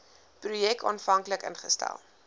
projek aanvanklik ingestel